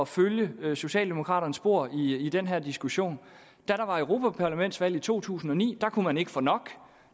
følge socialdemokraternes spor i i den her diskussion da der var europaparlamentsvalg i to tusind og ni kunne man ikke få nok